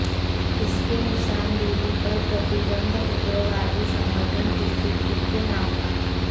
इनके निशानदेही पर प्रतिबंधित उग्रवादी संगठन टीपीसी के नाम का